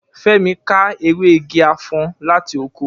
Femi ká ewé igi afon láti oko